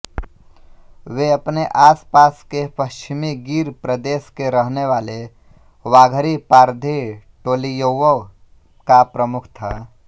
वे अपने आस पास के पश्चिमी गीर प्रदेश के रहनेवाले वाघरी पारधी टोलीयौंका प्रमुख था